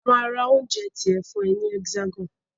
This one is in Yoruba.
A máa ra oúnjẹ tiẹ fún ẹ ní Hexagon.